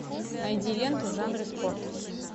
найди ленту в жанре спорт